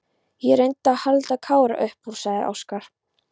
Ég reyndi að halda Kára upp úr, sagði Óskar.